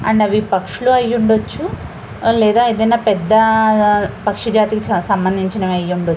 And అవి పక్షులు అయ్యుండొచ్చు. లేదా ఏదైనా పెద్ద పక్షజాతికి సంబంధించిన అయ్యుండొచ్చు.